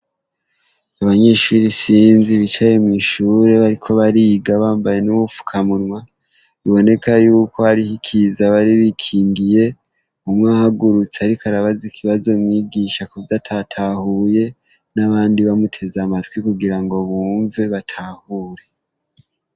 Abanyeshure isinzi bicaye mw'ishure bariko bariga bambaye n'ubufukamunwa biboneka yuko hariho ikiza bari bikingiye, umwe ahugurutse ariko arabaza ikibazo mwigisha kuvyo atatahuye n'abandi bamuteze amatwi kugira ngo bumve batahure.